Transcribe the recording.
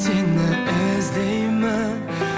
сені іздеймін